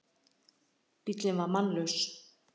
Bíllinn var mannlaus